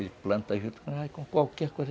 Ele planta junto com qualquer coisa.